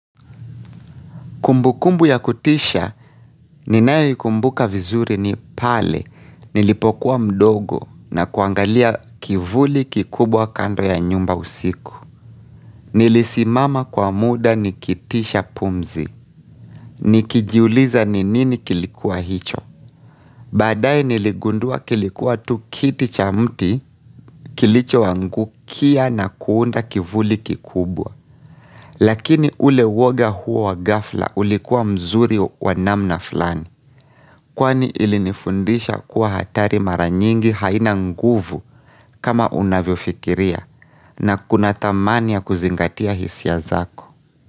Kumbukumbu ya kutisha, ninayoikumbuka vizuri ni pale, nilipokuwa mdogo na kuangalia kivuli kikubwa kando ya nyumba usiku. Nilisimama kwa muda nikitisha pumzi, nikijuliza ni nini kilikuwa hicho. Baadaye niligundua kilikuwa tu kiti cha mti kilichoangukia na kuunda kivuli kikubwa. Lakini ule woga huo wa ghafla ulikuwa mzuri wa namna fulani. Kwani ilinifundisha kuwa hatari mara nyingi haina nguvu kama unavyofikiria na kuna thamani ya kuzingatia hisia zako.